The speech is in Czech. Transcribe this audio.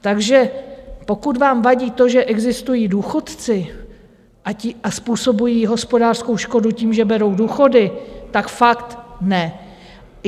Takže pokud vám vadí to, že existují důchodci a způsobují hospodářskou škodu tím, že berou důchody, tak fakt ne.